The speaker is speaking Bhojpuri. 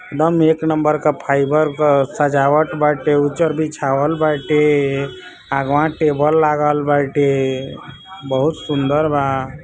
एकदम एक नंबर फाइबर क सजावट बाटे उज्जर बीछावल बाटे अगवा टेबल